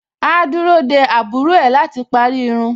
Áá dúró dé àbúrò ẹ̀ láti parí irun.